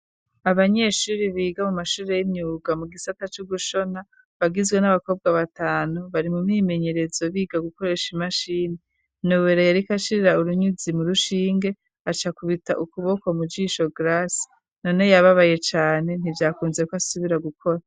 Abanyeshuri biga mu mashure y'inyuga mu gisata c'ugushona bagizwe n'abakobwa batanu bari mu mimenyerezo biga gukoresha imashini nowere yariko ashirira urunyuzi mu rushinge aca kubita ukuboko mu jisho grasi none yababaye cane ntijakunzeko asubira gukora.